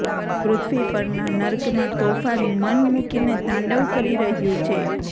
પૃથ્વી પરના નર્કમાં તોફાન મન મુકીને તાંડવ કરી રહ્યું છે